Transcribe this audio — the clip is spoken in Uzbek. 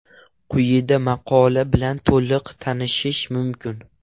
Quyida maqola bilan to‘liq tanishish mumkin.